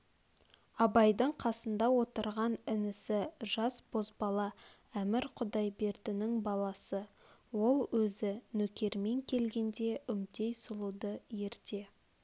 абайдың қасында отырған інісі жас бозбала әмір құдайбердінің баласы ол өзі нөкермен келгенде үмтей сұлуды ерте